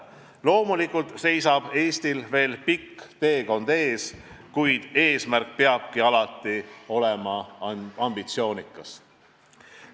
Loomulikult seisab Eestil veel pikk teekond ees, kuid eesmärk peabki alati olema ambitsioonikas.